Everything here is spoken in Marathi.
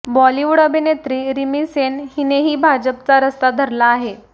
बॉलिवूड अभिनेत्री रिमी सेन हिनेही भाजपचा रस्ता धरला आहे